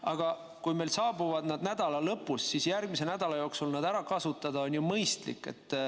Aga kui need saabuvad nädala lõpus, siis järgmise nädala jooksul on ju mõistlik need ära kasutada.